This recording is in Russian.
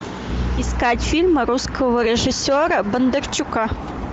искать фильм русского режиссера бондарчука